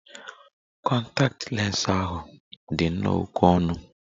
Kọntaktị lens ahu di nnọọ oké ọnụ.